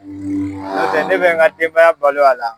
N'o tɛ ne bɛ n ka denbaya balo a la.